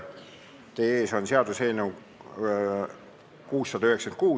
Teie ees on seaduseelnõu 696.